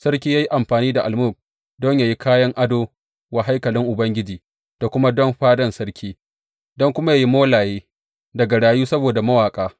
Sarki ya yi amfani da almug don yă yi kayan ado wa haikalin Ubangiji da kuma don fadan sarki, don kuma yă yi molaye, da garayu saboda mawaƙa.